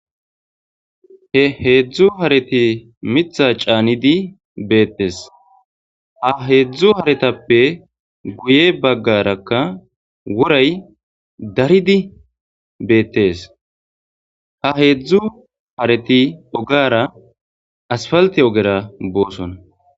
He heedzdzu hareti mitha caanidi beettes ha heedzdzu haretappe guye baggarakka wuray daridi beettes ha heedzdzu hareti ogara asfalti ogera booson.